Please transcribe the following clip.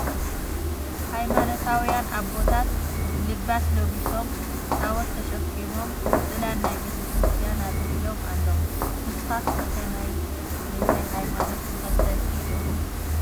ሃይማኖታዊያን ኣቦታት ልባስ ለቢሶም ታወት ተሸኪሞም ፅላል ናይ ቤተክርስትያ ኣፅሊሎም ኣለው ። ንስካትኩም ከ ናይ ምንታይ ሃይማኖት ተከተልቲ ኢኩም ?